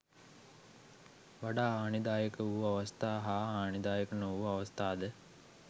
වඩා හානිදායක වූ අවස්ථා හා හානිදායක නොවූ අවස්ථාද